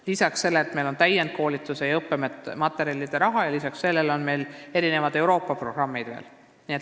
Meil on olemas ka täienduskoolituse ja õppematerjalide raha, millele lisanduvad veel erinevad Euroopa programmid.